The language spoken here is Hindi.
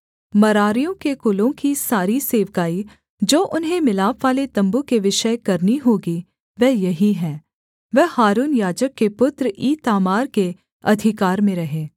मरारियों के कुलों की सारी सेवकाई जो उन्हें मिलापवाले तम्बू के विषय करनी होगी वह यही है वह हारून याजक के पुत्र ईतामार के अधिकार में रहे